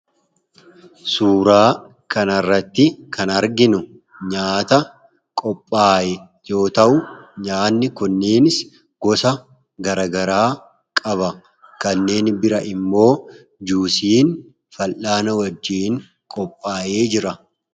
suuraa kanarratti kan arginu nyaata qophaa'e yoo ta'u nyaanni kunneenis gosa garagaraa qaba kanneen biraa immoo juusiin fallaana wajjiin qophaa'ee jira.